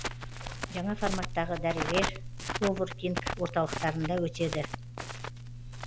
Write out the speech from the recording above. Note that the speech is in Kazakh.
жаңа форматтағы дәрістер коворкинг орталықтарында өтеді